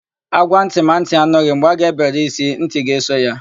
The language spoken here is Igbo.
Ágwá ntị ma ntị anụghị; mgbe a ga-ebere ísí, ntị ga-eso ya.